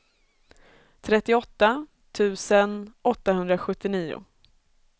trettioåtta tusen åttahundrasjuttionio